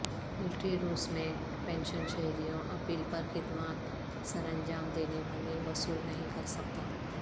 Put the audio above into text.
military روس میں pension شہریوں اپیل پر خدمات سرانجام دینے والے وصول نہیں کر سکتا